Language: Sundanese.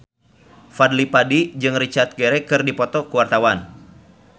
Fadly Padi jeung Richard Gere keur dipoto ku wartawan